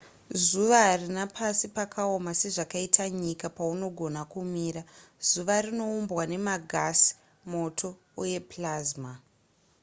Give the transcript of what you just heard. zuva harina pasi pakaoma sezvakaita nyika paunogona kumira zuva rinoumbwa nemagasi moto uye plasma